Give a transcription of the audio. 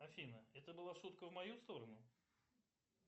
афина это была шутка в мою сторону